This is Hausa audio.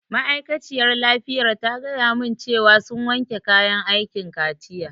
Ma'aikaciyar lafiyar ta gaya mun cewa sun wanke kayan aikin kaciya